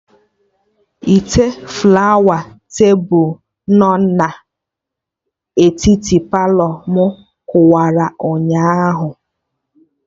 Ite flawa tebụl no na etiti Palọ mụ kụwara ụnyaahụ